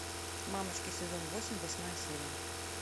мамочки сезон восемь восьмая серия